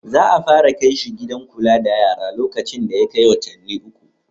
Za a fara kai shi gidan kula da yara lokacin da ya kai watanni uku.